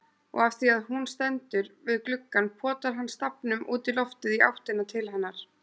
Og afþvíað hún stendur við gluggann potar hann stafnum útí loftið í áttina til hennar.